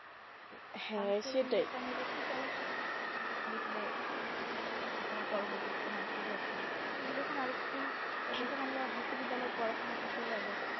চলা শেখ দেখবে আর তোমার পরবর্তীতে কোনো অসুবিধা হচ্ছে না তুমি যখন আর একটু যখন আমরা বিশ্ববিদ্যালয়ে পড়াশোনা করতে যাবো।